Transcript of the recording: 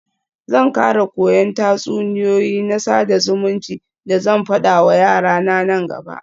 Zan kara koyan tatsuniyoyi na sada zumunci da zan fada wa yarana nan gaba.